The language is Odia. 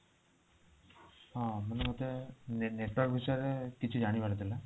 ହଁ ମେତ ନେ network ବିଷୟରେ କିଛି ଜାଣିବାର ଥିଲା